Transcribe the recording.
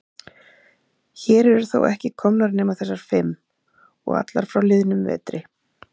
Hér eru þó ekki komnar nema þessar fimm. og allar frá liðnum vetri.